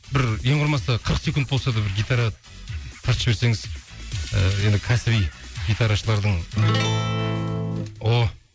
бір ең құрымаса қырық секунд болса да бір гитара тартып жіберсеңіз ыыы енді кәсіби гитарашылардың о